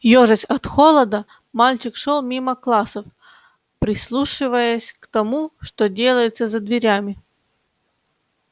ёжась от холода мальчик шёл мимо классов прислушиваясь к тому что делается за дверями